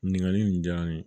Ɲininkali in diyara n ye